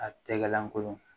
A tɛgɛ lankolon